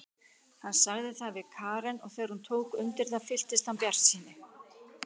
Hann sagði það við Karen og þegar hún tók undir það fylltist hann bjartsýni.